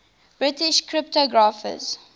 british cryptographers